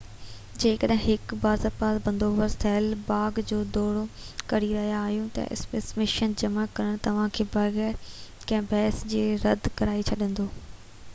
جيڪڏهن هڪ باضابطه بندوبست ٿيل باغ جو دورو ڪري رهيا آهيو ته اسپيسيمين جمع ڪرڻ توهانکي بغير ڪنهن بحث جي رد ڪرائي ڇڏيندو